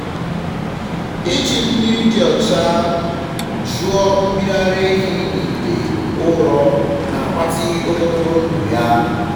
iji mmiri dị ọcha jụọ mmiri ara ehi n’ite ụrọ na-agbatị ogologo ndụ ya.